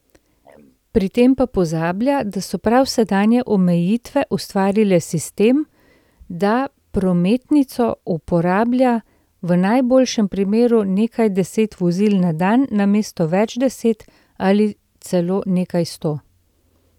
Pri tem pa pozablja, da so prav sedanje omejitve ustvarile sistem, da prometnico uporablja v najboljšem primeru nekaj deset vozil na dan namesto več deset ali celo nekaj sto.